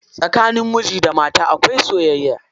Tsakanin miji da mata akwai soyayya.